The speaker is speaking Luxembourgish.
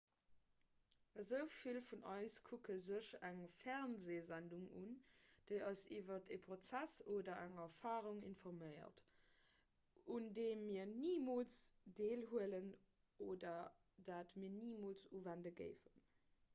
esou vill vun eis kucke sech eng fernseesendung un déi eis iwwer e prozess oder eng erfarung informéiert un deem mir nimools deelhuelen oder dat mir nimools uwende géifen